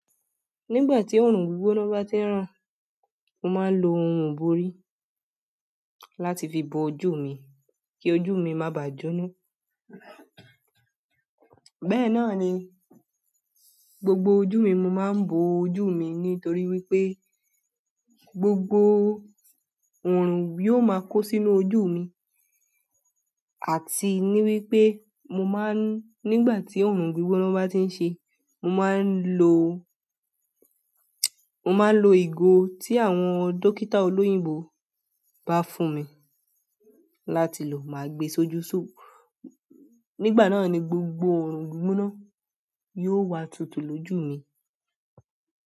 Nígbà tí òòrùn gbígbóná bá ti ń rán, mo máa ń lo ohun ìbòrí láti fi bo ojú mi kí ojú mi má bàá jóná. Bẹ́ẹ̀ náà ni gbogbo ojú mi mo máa ń bo ojú mi nítorí wípé gbogbo òòrùn yóò máa kó sínú ojú mi àti ní wípé mo máa ń, nígbà tí òòrùn gbígbóná bá ti ń ṣe, mo máa ń lo, mo máa ń lo ìgò tí àwọn dókítà olóyìnbó bá fún mi láti lò. Máa gbe sójú sùù. Nígbà náà ni gbogbo òòrùn gbígbóná yóò wá tútú lójú mi.